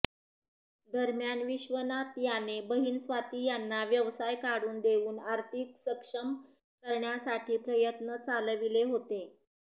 दरम्यान विश्वनाथ याने बहिण स्वाती यांना व्यवसाय काढून देऊन आर्थिक सक्षम करण्यासाठी प्रयत्न चालविले होते